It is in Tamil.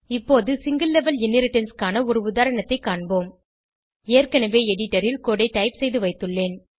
இப்போது சிங்கில் லெவல் இன்ஹெரிடன்ஸ் க்கான ஒரு உதாரணத்தைக் காண்போம் ஏற்கனவே எடிடரில் கோடு ஐ டைப் செய்துவைத்துள்ளேன்